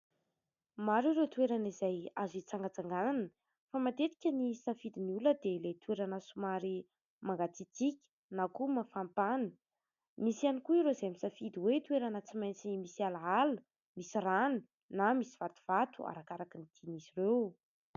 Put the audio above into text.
Maro ireo toerana izay azo hitsangatsanganana fa matetika ny safidiny olona dia ilay toerana somary mangatsitsiaka na koa mafampana ; misy ihany koa ireo izay misafidy hoe toerana tsy maintsy ny misy alaala, misy rano na misy vatovato arakaraka ny tiany izy ireo.